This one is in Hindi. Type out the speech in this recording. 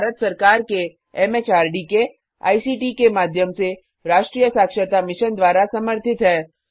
यह भारत सरकार के एमएचआरडी के आईसीटी के माध्यम से राष्ट्रीय साक्षरता मिशन द्वारा समर्थित है